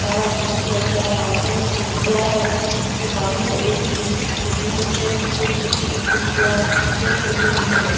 सारा blue colour का बहोत सारी खिड़किया है जो बंद है एक खिड़की खुली हुई है नीचे में छोटी-छोटी खिड़किया है जो खुली हुई है।